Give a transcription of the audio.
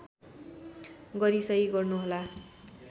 गरी सहि गर्नुहोला